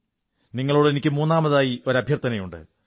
നിങ്ങളോട് എനിക്ക് മൂന്നാമതായി ഒരു അഭ്യർഥനയുണ്ട്